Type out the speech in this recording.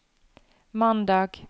mandag